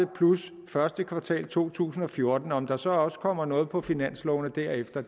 plus første kvartal af to tusind og fjorten om der så også kommer noget på finanslovene derefter